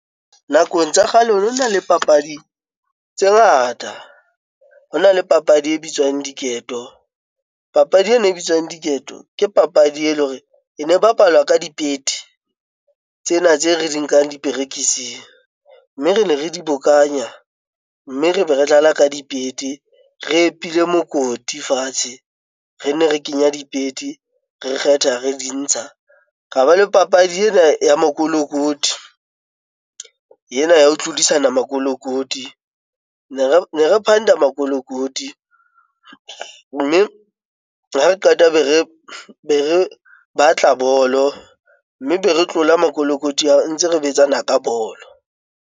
Nakong tsa kgale ho nona le papadi tse ngata, hona le papadi e bitswang diketo. Papadi ena e bitswang diketo, ke papadi ele hore ene bapalwa ka dipete tsena tse re di nkang diperekising. Mme rene re dibokanya mme re be re dlala ka dipete, re epile mokoti fatshe. Rene re kenya dipete, re kgetha re di ntsha. Ra ba le papadi ena ya makolokoti, yena ya ho tlodisana makolokoti. Ne re phanda makolokoti mme ha re qeta be re batla bolo. Mme be re tlola makolokoti ao ntse re betsana ka bolo.